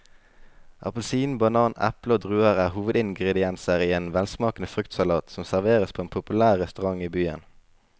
Appelsin, banan, eple og druer er hovedingredienser i en velsmakende fruktsalat som serveres på en populær restaurant i byen.